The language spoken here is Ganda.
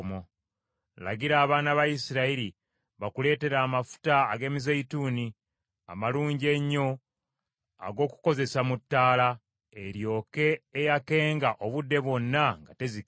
“Lagira abaana ba Isirayiri bakuleetere amafuta ag’emizeeyituuni amalungi ennyo ag’okukozesa mu ttaala, eryoke eyakenga obudde bwonna nga tezikira.